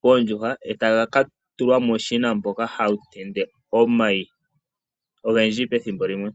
poondjuhwa, taga ka tulwa muushina mboka hawu tende omayi ogendji pethimbo limwe.